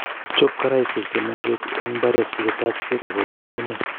Chop karaishek che meng'ech eng mbaret si ko tach peek ak korip ng'ung'nyek